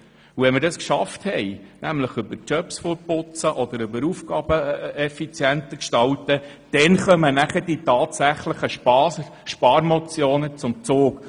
Wenn wir das geschafft haben, sei es über das Fortputzen von unnötigen Jobs oder über die effizientere Gestaltung von Aufgaben, dann kommen die Sparmotionen zum Zug.